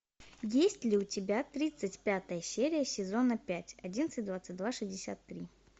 есть ли у тебя тридцать пятая серия сезона пять одиннадцать двадцать два шестьдесят три